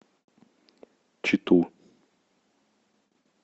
читу